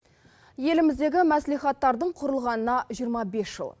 еліміздегі мәслихаттардың құрылғанына жиырма бес жыл